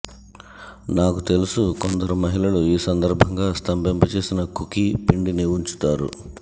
నాకు తెలుసు కొందరు మహిళలు ఈ సందర్భంగా స్తంభింపచేసిన కుకీ పిండిని ఉంచుతారు